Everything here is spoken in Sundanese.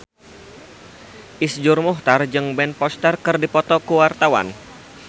Iszur Muchtar jeung Ben Foster keur dipoto ku wartawan